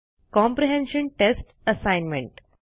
comprehension test assignment